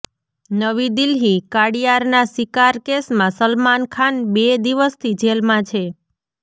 નવી દિલ્હીઃ કાળિયારના શિકાર કેસમાં સલમાન ખાન બે દિવથી જેલમાં છે